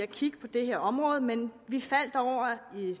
kigge på det her område men